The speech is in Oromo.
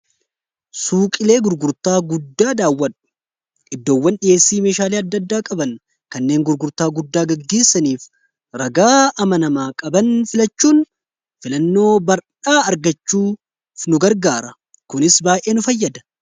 suuqilee gurgurtaa guddaa daawwadhu iddoowwan dhiheessii meeshaalii adda-addaa qaban kanneen gurgurtaa guddaa gaggeessaniif ragaa amanamaa qaban filachuun filannoo bardhaa argachuuf nu gargaara kunis baa'ee nu fayyada